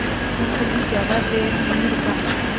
मुखर्जी ज़्यादा देर नहीं रुका